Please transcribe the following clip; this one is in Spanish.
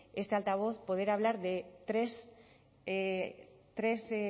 este altavoz poder hablar de tres